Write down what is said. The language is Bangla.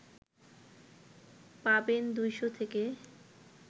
পাবেন ২০০ থেকে